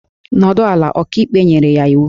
Nọdụ ala! Ọkaikpe nyere ya iwu